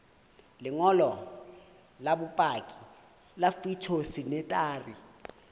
lengolo la bopaki la phytosanitary